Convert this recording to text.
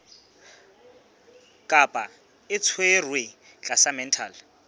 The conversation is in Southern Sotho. kapa o tshwerwe tlasa mental